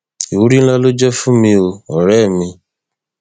ìwúrí ńlá ló jẹ fún mi o ọrẹ mi